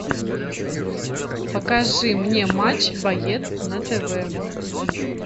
покажи мне матч боец на тв